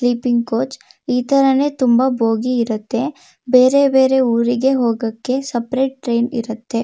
Sleeping coach ಇತರನೇ ತುಂಬಾ bogie ಇರುತ್ತೆ ಬೇರೆ ಬೇರೆ ಊರಿಗೆ ಹೋಗಕೆ ಸಪರೇಟ್ ಟ್ರೇನ್ ಇರುತ್ತೆ.